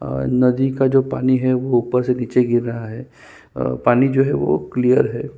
और नदी का जो पानी है वो ऊपर से नीचे गिर रहा है अ पानी जो है वो क्लियर है ।